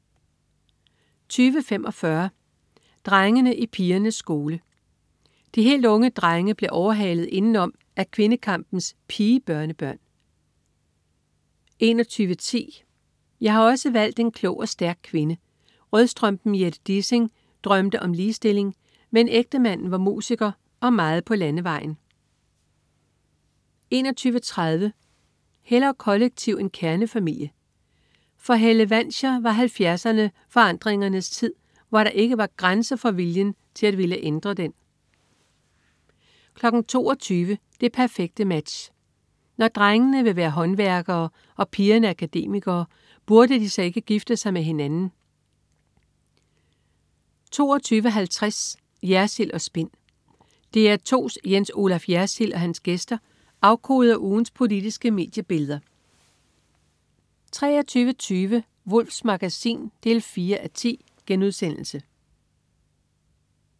20.45 Drengene i pigernes skole. De helt unge drenge bliver overhalet indenom af kvindekampens pige-børnebørn 21.10 Jeg har også valgt en klog og stærk kvinde. Rødstrømpen Jette Dissing drømte om ligestilling, men ægtemanden var musiker og meget på landevejen 21.30 Hellere kollektiv end kernefamilie. For Helle Wanscher var 70erne forandringens tid, hvor der ikke var grænser for viljen til at ville ændre 22.00 Det perfekte Match. Når drengene vil være håndværkere og pigerne akademikere, burde de så ikke gifte sig med hinanden? 22.50 Jersild & Spin. DR2's Jens Olaf Jersild og hans gæster afkoder ugens politiske mediebilleder 23.20 Wulffs Magasin 4:10*